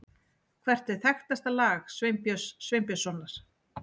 Hvert er þekktasta lag Sveinbjörns Sveinbjörnssonar?